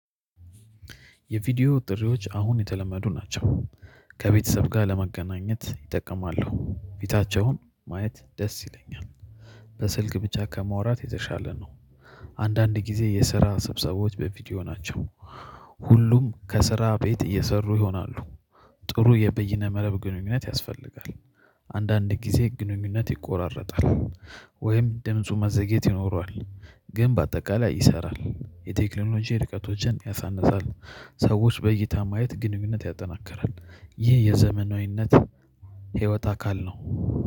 የቪዲዮ ጥሪዎች አሁን የተለመዱ ናቸው። ከቤተሰብ ጋር ለመገናኘት ይጠቀማሉ ፊታቸውን ማየት ደስ ይለኛል። በስልክ ብቻ ከማውራት የተሻለ ነው። አንዳንድ ጊዜ የስራ ስብሰቦች በቪዲዮ ናቸው። ሁሉም ከስራ ቤት እየሰሩ ይሆናሉ። ጥሩ የበይነ መረብ ግንኙነት ያስፈልጋል። አንዳንድ ጊዜ ግንኙነት ይቆራረጣል። ወይም ድምፁ ማዘግየት ይኖረዋል። ግን በአጠቃላይ ይሰራል የቴክኖሎጂ ርቀቶችን ያሳንሳል። ሰዎች በእይታ ማየት ግንኙነት ያጠናክራል። ይህ የዘመናዊነት ህይወት አካል ነው